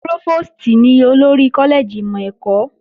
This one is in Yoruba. Prófòstì ní olórí kọ́lẹ́ẹ̀jì ìmọ̀ ẹ̀kọ́